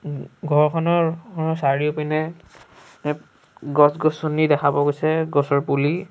উম ঘৰখনৰ চাৰিওপিনে এ গছ-গছনি দেখা পোৱা গৈছে গছৰ পুলি।